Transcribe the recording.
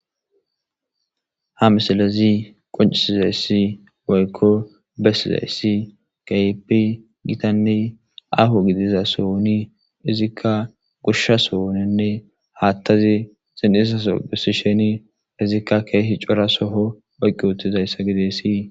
Ha misilezi qoncisizayssi woykko bessizayssi keehippe gitanne aho gidiza sohoni izikka gushsha sohoninne haattazi xin'isaso gussi sheni izikka keehi cura soho oyqqi utizayssa gideesii